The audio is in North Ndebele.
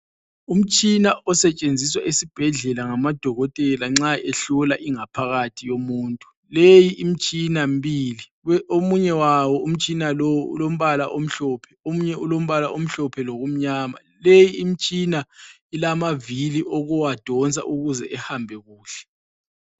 Umtshina osetshenziswa esibhedlela ngamadokotela nxa ehlola ingaphakathi yomuntu. Leyi imtshina mbili, omunye wawo umtshina lowu ulombala omhlophe omunye ulombala omhlophe lokumnyama. Leyi imtshina ilamavili okuwadonsa ukuze ihambe kuhle.